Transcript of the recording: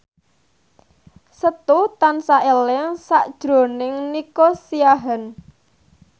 Setu tansah eling sakjroning Nico Siahaan